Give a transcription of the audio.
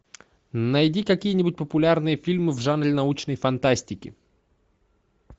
найди какие нибудь популярные фильмы в жанре научной фантастики